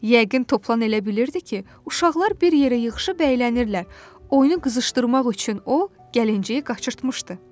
Yəqin Toplan elə bilirdi ki, uşaqlar bir yerə yığışıb əylənirlər, oyunu qızışdırmaq üçün o gəlinciyi qaçırtmışdı.